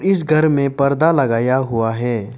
इस घर में परदा लगाया हुआ है।